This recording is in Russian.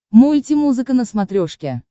мультимузыка на смотрешке